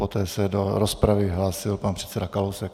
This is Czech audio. Poté se do rozpravy hlásil pan předseda Kalousek.